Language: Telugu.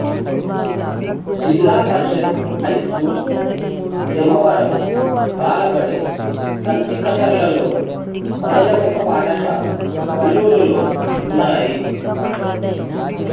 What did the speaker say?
జిల్లాపరిషత్ హైస్కూల్ జమ్మవరం బాలబడి కంచికచర్లలోను మాధ్యమిక పాఠశాల వల్లూరులోనూ ఉన్నాయి